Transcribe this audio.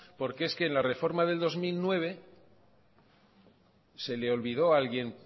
porque es que en la reforma del dos mil nueve se le olvidó a alguien